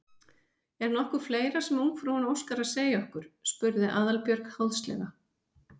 Er nokkuð fleira sem ungfrúin óskar að segja okkur? spurði Aðalbjörg háðslega.